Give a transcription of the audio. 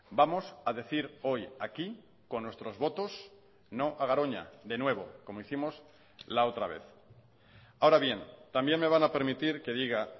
vamos a decir hoy aquí con nuestros votos no a garoña de nuevo como hicimos la otra vez ahora bien también me van a permitir que diga